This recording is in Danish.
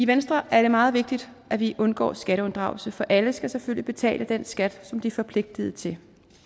venstre er det meget vigtigt at vi undgår skatteunddragelse for alle skal selvfølgelig betale den skat som de er forpligtiget til